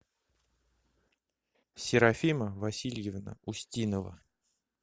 серафима васильевна устинова